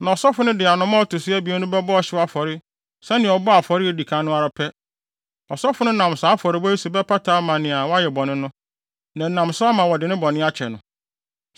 Na ɔsɔfo no de anomaa a ɔto so abien no bɛbɔ ɔhyew afɔre sɛnea ɔbɔɔ afɔre a edi kan no ara pɛ. Ɔsɔfo no nam saa afɔrebɔ yi so bɛpata ama nea wayɛ bɔne no, na ɛnam so ama wɔde ne bɔne akyɛ no.